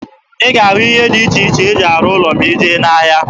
Ị ga-ahụ ihe dị iche iche e ji arụ ụlọ ma ị jee n'ahịa.